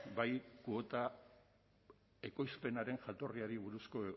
bai kuota ekoizpenen jatorriari buruzko